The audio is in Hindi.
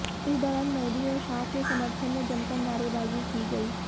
इस दौरान मोदी और शाह के समर्थन में जमकर नारेबाजी की गयी